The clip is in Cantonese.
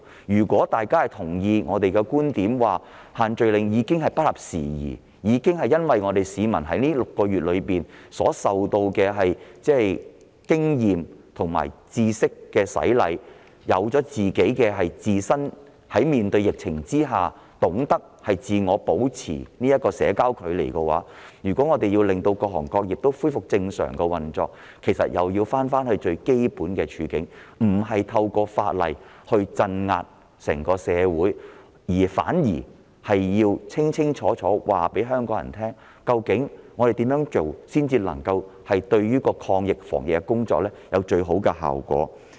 如大家同意我們的觀點，認為限聚令已不合時宜，因為市民經過這半年經驗和知識的洗禮，已懂得如何面對疫情，自我保持社交距離，那麼，若要令各行各業恢復正常運作，其實又要重回基本，不要意圖透過法例鎮壓整個社會，反而要清楚告訴香港人，怎樣做才能令防疫抗疫工作得到最佳效果。